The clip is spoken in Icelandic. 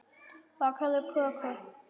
Bakaðu köku.